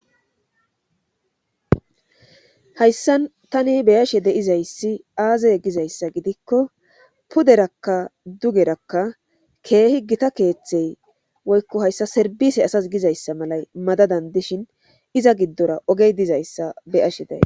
hayssan tani be7ashe de7izayssi aazee gizayssa gidiko puderakka dugerakka keehi githa keeththey woykko hayssa serbbiise asas gizeyssa malay madadan dishin iza giddora oge dizayssa be7ashe de7ays.